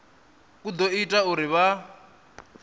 u ḓo ita uri vha